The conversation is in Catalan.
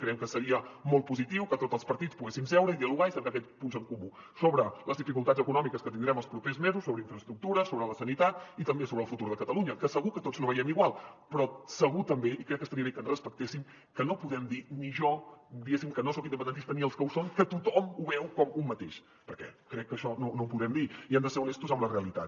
creiem que seria molt positiu que tots els partits poguéssim seure i dialogar i cercar aquests punts en comú sobre les dificultats econòmiques que tindrem els propers mesos sobre infraestructures sobre la sanitat i també sobre el futur de catalunya que segur que tots no veiem igual però segur també i crec que estaria bé que ens respectéssim que no podem dir ni jo diguem ne que no soc independentista ni els que ho són que tothom ho veu com un mateix perquè crec que això no ho podem dir i hem de ser honestos amb la realitat